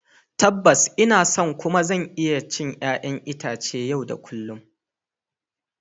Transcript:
Tabbas, ina son kuma zan iya cin 'ƴa'ƴan itace yau da kullun.